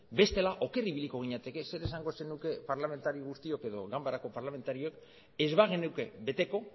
bestela oker ibiliko ginateke zer esango zenuke parlamentari guztiok edo ganbarako parlamentarioek ez bagenuke beteko